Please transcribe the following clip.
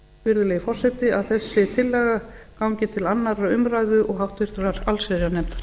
virðulegi forseti að þessi tillaga gangi til annars umrog háttvirtrar allsherjarnefndar